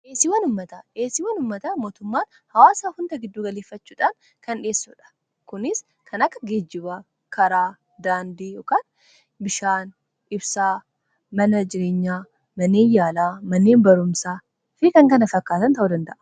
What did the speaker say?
Dhiyeessiin waan uummata mootummaan hawaasaa hunda gidduu galeeffachuudhaan kan dhiyeessudha. Kunis kan akka geejjibaa, karaa, daandii, ykn bishaan, ibsaa mana jireenyaa, manneen yaalaa, manneen barumsaa fi kan kana fakkaatan ta'u danda'a.